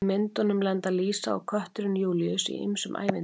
Í myndunum lenda Lísa og kötturinn Júlíus í ýmsum ævintýrum.